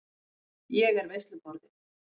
Ég er veisluborðið.